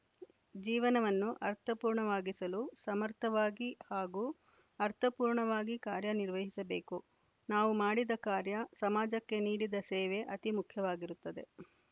ಜೀವನವನ್ನು ಅರ್ಥಪೂರ್ಣವಾಗಿಸಲು ಸಮರ್ಥವಾಗಿ ಹಾಗೂ ಅರ್ಥಪೂರ್ಣವಾಗಿ ಕಾರ್ಯನಿರ್ವಹಿಸಬೇಕು ನಾವು ಮಾಡಿದ ಕಾರ್ಯ ಸಮಾಜಕ್ಕೆ ನೀಡಿದ ಸೇವೆ ಅತಿ ಮುಖ್ಯವಾಗಿರುತ್ತದೆ